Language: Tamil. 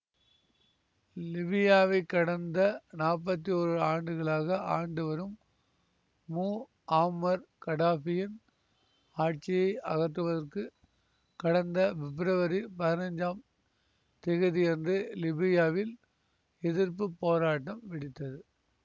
லிபியாவைக் கடந்த நாற்பத்தி ஓரு ஆண்டுகளாக ஆண்டு வரும் முஆம்மர் கடாபியின் ஆட்சியை அகற்றுவதற்கு கடந்த பிப்ரவரி பதினஞ்சாம் திகதியன்று லிபியாவில் எதிர்ப்பு போராட்டம் வெடித்தது